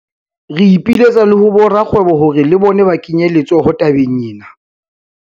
Re ipiletsa le ho borakgwebo hore le bona ba kenye letsoho tabeng ena.